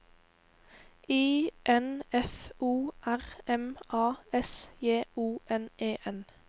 I N F O R M A S J O N E N